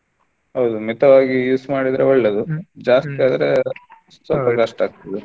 ಹೌದು ಮಿತವಾಗಿ use ಮಾಡಿದ್ರೆ ಒಳ್ಳೇದು ಜಾಸ್ತಿ ಆದ್ರೆ ಸ್ವಲ್ಪ ಕಷ್ಟ ಆಗ್ತದೆ.